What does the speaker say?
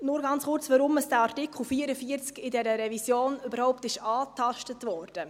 Nur ganz kurz, weshalb der Artikel 44 in dieser Revision überhaupt angetastet wurde.